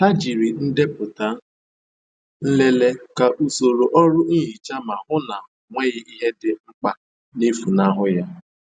Jiri ndepụta nlele ka soro ọrụ nhicha ma hụ na ọ nweghị ihe dị mkpa na-efunahụ ya.